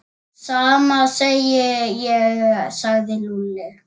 Sama segi ég sagði Lúlli.